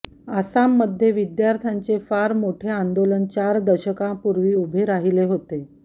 आसाममध्ये विद्यार्थ्यांचे फार मोठे आंदोलन चार दशकांपूर्वी उभे राहिले होते